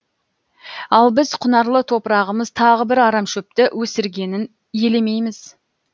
ал біз құнарлы топырағымыз тағы бір арамшөпті өсіргенін елемейміз